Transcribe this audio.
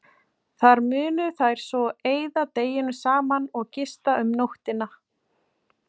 Þar munu þær svo eyða deginum saman og gista um nóttina.